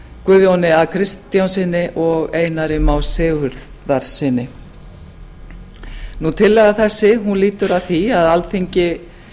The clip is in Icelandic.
guðjóni a kristjánssyni og einari má sigurðarsyni tillaga þessi lýtur að því að alþingi